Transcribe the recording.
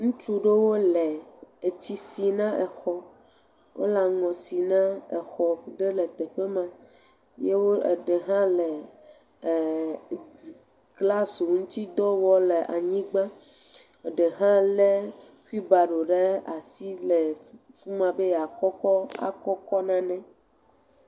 Ŋutsu ɖewo le etsi si na exɔ, wole aŋɔ si na exɔ ɖe teƒe ma, ye eɖe hã glasi ŋutidɔ wɔm le anyigba, eɖe hã lé xuilbaro ɖe asi le fi ma be yeakɔ kɔ akɔ kɔ nane.